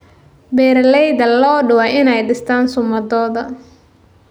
Beeralayda lo'du waa inay dhistaan ​​sumaddooda.